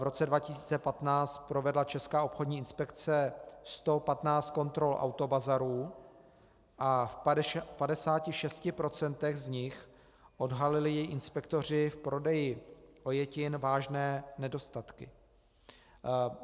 V roce 2015 provedla Česká obchodní inspekce 115 kontrol autobazarů a v 56 % z nich odhalili její inspektoři v prodeji ojetin vážné nedostatky.